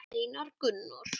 Einar Gunnar.